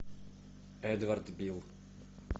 эдвард бил